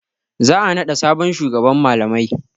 Za a naɗa sabon shugaban malamai.